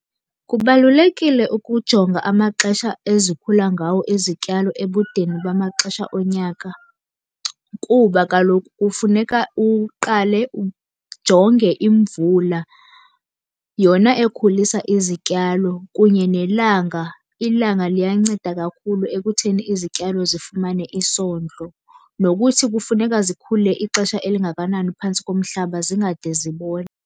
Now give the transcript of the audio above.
Kubalulekile ukujonga amaxesha ezikhula ngawo izityalo ebudeni bamaxesha onyaka, kuba kaloku kufuneka uqale ujonge imvula yona ekhulisa izityalo kunye nelanga. Ilanga liyanceda kakhulu ekutheni izityalo zifumane isondlo. Nokuthi kufuneka zikhule ixesha elingakanani phantsi komhlaba zingade zibole.